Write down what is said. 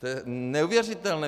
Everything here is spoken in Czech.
To je neuvěřitelné.